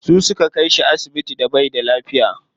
Su suka kai shi asibiti da baida lafiya.